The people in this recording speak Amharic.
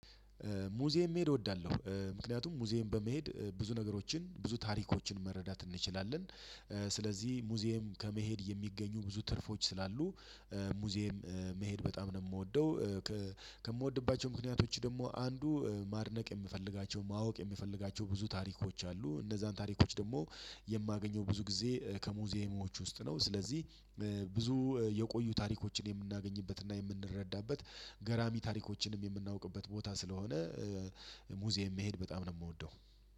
ሙዚየም መሄድ እወዳለሁ ምክንያቱም ሙዚየም በመሄድ ብዙ ነገሮችን ብዙ ታሪኮችን መረዳት እንችላለን። ስለዚህ ሙዚየም ከመሄድ የሚገኙ ብዙ ትርፎች ስላሉ ሙዚየም መሄድ በጣም ነው የምወደው። ከምወድባቸው ምክንያቶች ደግሞ አንዱ ማድነቅ የምፈልጋቸው ማወቅ የምፈልጋቸው ብዙ ታሪኮች አሉ። እነዛን ታሪኮች ደግሞ የማገኘው ብዙ ጊዜ ከሙዚየሞች ውስጥ ነው። ስለዚህ ብዙ የቆዩ ታሪኮችን የምናገኝበትና የምንረዳበት ገራሚ ታሪኮችንም የምናውቅበት ቦታ ስለሆነ ሙዚየም መሄድ በጣም ነው የምወደው።